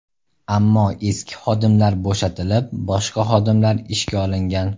Ammo eski xodimlar bo‘shatilib, boshqa xodimlar ishga olingan.